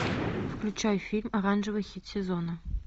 включай фильм оранжевый хит сезона